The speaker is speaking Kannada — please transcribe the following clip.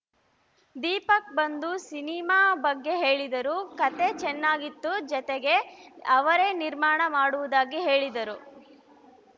ದೀಪಕ್‌ ಬಂದು ಸಿನಿಮಾ ಬಗ್ಗೆ ಹೇಳಿದರು ಕತೆ ಚೆನ್ನಾಗಿತ್ತು ಜತೆಗೆ ಅವರೇ ನಿರ್ಮಾಣ ಮಾಡುವುದಾಗಿ ಹೇಳಿದರು